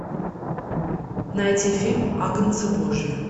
найти фильм агнцы божьи